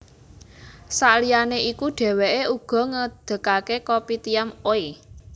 Saliyane iku dheweke uga ngedegake Kopitiam Oey